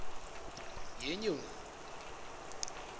yenyoni